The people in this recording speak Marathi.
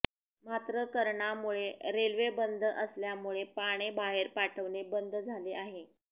मात्र करणामुळे रेल्वे बंद असल्यामुळे पाने बाहेर पाठवणे बंद झाले आहे